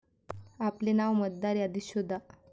आपले नाव मतदार यादीत शोधा